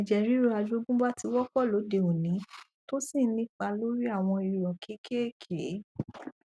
ẹjẹ ríru àjọgúnbá ti wọpọ lóde òní tó sì ń ní ipa lórí àwọn irọ kékèèké